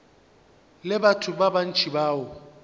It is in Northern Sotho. le batho ba bantši bao